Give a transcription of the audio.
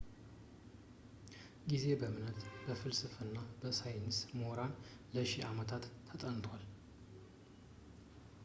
ጊዜ በእምነት በፍልስፍናና በሳይንስ ምሁራን ለሺ አመታት ተጠንቷል